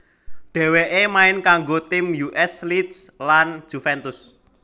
Dheweke main kanggo tim U S Lecce lan Juventus